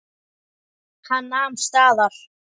Hann nam staðar.